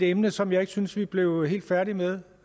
emne som jeg ikke synes vi blev helt færdige med